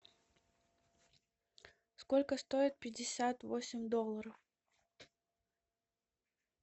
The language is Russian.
сколько стоит пятьдесят восемь долларов